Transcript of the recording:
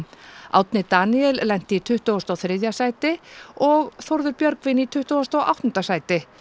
Árni Daníel lenti í tuttugasta og þriðja sæti og Þórður Björgvin í tuttugasta og áttunda sæti